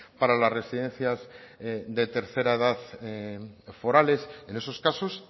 para las residencias de tercera edad forales en esos casos